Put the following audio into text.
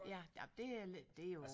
Ja nej det er lidt det er jo